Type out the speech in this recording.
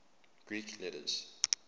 greek letters